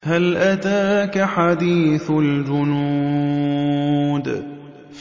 هَلْ أَتَاكَ حَدِيثُ الْجُنُودِ